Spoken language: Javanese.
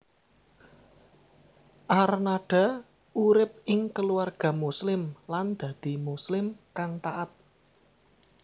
Arnada urip ing keluarga Muslim lan dadi Muslim kang taat